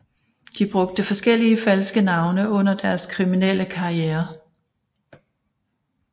De brugte forskellige falske navne under deres kriminelle karriere